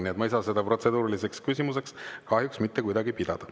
Nii et ma ei saa seda kahjuks mitte kuidagi protseduuriliseks küsimuseks pidada.